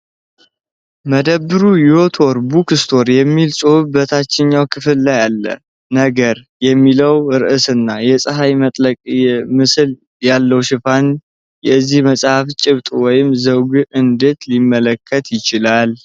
መደብሩ "YOTOR BOOK STORE" የሚል ጽሑፍ በታችኛው ክፍል ላይ አለው።"ነገር" የሚለው ርዕስና የፀሐይ መጥለቅ ምስል ያለው ሽፋን የዚህን መጽሐፍ ጭብጥ ወይም ዘውግ እንዴት ሊያመለክት ይችላል?